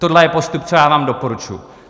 Tohle je postup, co já vám doporučuji.